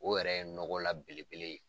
O yɛrɛ ye nɔgɔ la belebele ye.